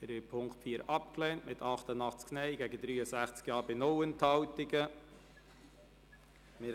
Sie haben den Punkt 4 mit 88 Nein- gegen 63 Ja-Stimmen bei 0 Enthaltungen abgelehnt.